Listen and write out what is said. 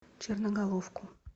черноголовку